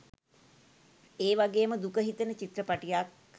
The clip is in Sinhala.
ඒ වගේම දුක හිතෙන චිත්‍රපටියක්